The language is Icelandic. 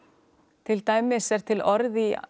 til dæmis er til orð í